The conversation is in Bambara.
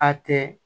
A tɛ